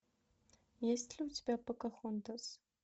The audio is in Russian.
есть ли у тебя покахонтас